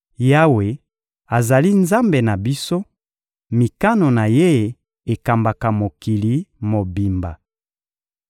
Yawe azali Nzambe na biso, mikano na Ye ekambaka mokili mobimba.